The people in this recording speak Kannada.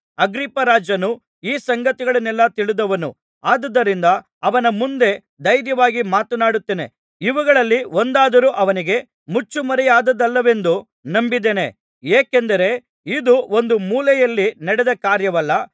ಅಗ್ರಿಪ್ಪರಾಜನು ಈ ಸಂಗತಿಗಳನ್ನೆಲ್ಲಾ ತಿಳಿದವನು ಆದುದರಿಂದ ಅವನ ಮುಂದೆ ಧೈರ್ಯವಾಗಿ ಮಾತನಾಡುತ್ತೇನೆ ಇವುಗಳಲ್ಲಿ ಒಂದಾದರೂ ಅವನಿಗೆ ಮುಚ್ಚುಮರೆಯಾದುದಲ್ಲವೆಂದು ನಂಬಿದ್ದೇನೆ ಏಕೆಂದರೆ ಇದು ಒಂದು ಮೂಲೆಯಲ್ಲಿ ನಡೆದ ಕಾರ್ಯವಲ್ಲ